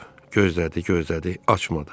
Gözlədi, gözlədi, açmadı.